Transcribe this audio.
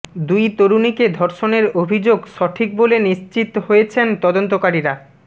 দুই তরুণীকে ধর্ষণের অভিযোগ সঠিক বলে নিশ্চিত হয়েছেন তদন্তকারীরা